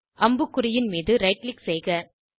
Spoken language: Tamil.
அம்புக்குறியின் மீது ரைட் க்ளிக் செய்க